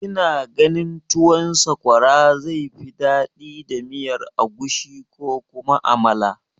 Kina ganin tuwon sakwara zai fi daɗi da miyar agushi ko kuma amala?